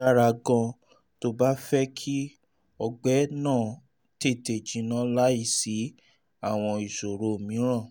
èyí dára gan-an tó o bá fẹ́ kí ọgbẹ́ náà tètè jinná láìsí àwọn ìṣòro mìíràn